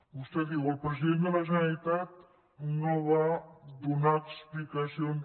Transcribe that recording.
vostè diu el president de la generalitat no va donar explicacions